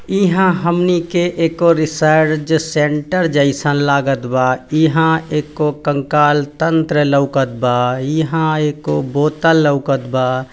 ईहा हमनी के एक और रिसर्च सेंटर जैसन लागत बा। ईहा एको कंकाल तंत्र लौकत बा। ईहा एको बोतल लौकत बा।